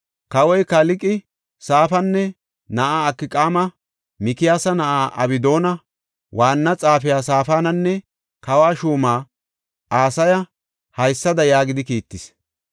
Kawoy, Kalqe, Safaana na7aa Akqaama, Mikiyaasa na7aa Abdoona, waanna xaafiya Saafananne kawo shuuma Asaya haysada yaagidi kiittis;